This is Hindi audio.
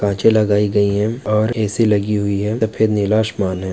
कांचे लगाई गई है और ए_सी लगी हुई है सफ़ेद नीला आशमान है।